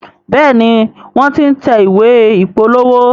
Béèni wón t'in tẹ̀ ìwé ìpolówó.